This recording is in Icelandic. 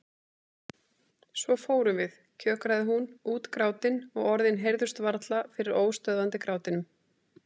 Svo fórum við, kjökraði hún, útgrátin og orðin heyrðust varla fyrir óstöðvandi grátinum.